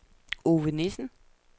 Ove Nissen